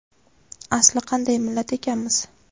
Asli qanday millat ekanmiz.